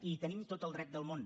i hi tenim tot el dret del món